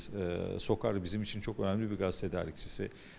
SOCAR bizim üçün çox önəmli bir qaz tədarükçüsüdür.